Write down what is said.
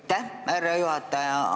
Aitäh, härra juhataja!